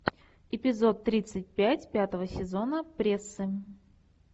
эпизод тридцать пять пятого сезона прессы